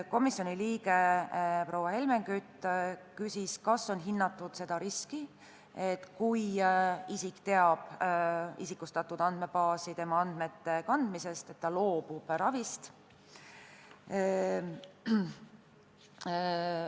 Komisjoni liige proua Helmen Kütt küsis, kas on hinnatud riski, et kui isik teab tema isikustatud andmete andmebaasi kandmisest, siis ta loobub ravist.